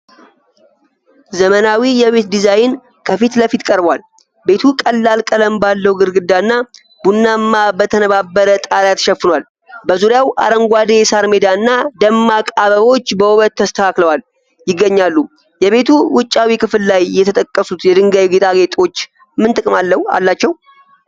ዘመናዊ የቤት ዲዛይን ከፊት ለፊት ቀርቧል። ቤቱ ቀላል ቀለም ባለው ግድግዳና ቡናማ በተነባበረ ጣሪያ ተሸፍኗል። በዙሪያው አረንጓዴ የሣር ሜዳ እና ደማቅ አበቦች በውበት ተስተካክለው ይገኛሉ። የቤቱ ውጫዊ ክፍል ላይ የተጠቀሱት የድንጋይ ጌጣጌጦች ምን ጥቅም አላቸው?